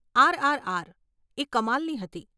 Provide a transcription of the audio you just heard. RRR, એ કમાલની હતી.